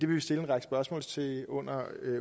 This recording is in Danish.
vi stille en række spørgsmål til under